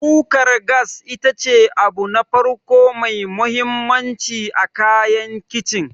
Kukar gas ita ce abu na farko mai mahimmanci a kayan Kicin.